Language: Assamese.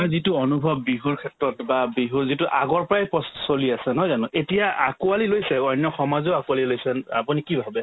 নহয় যিটো অনুভৱ বিহুৰ ক্ষেত্ৰত বা বিহুৰ যিটো আগৰ পৰাই প্ৰস্ চলি আছে নহয় জানো এতিয়া আকোৱালি লৈছে অন্য সমাজেও আকোৱালি লৈছে আপুনি কি ভাবে ?